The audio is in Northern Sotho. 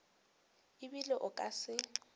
e bile o ka se